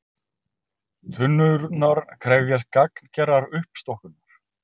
Tunnurnar krefjast gagngerrar uppstokkunar